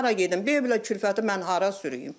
Mən hara gedim, belə kürfəti mən hara sürüyüm?